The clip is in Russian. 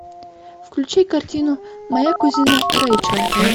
включи картину моя кузина рэйчел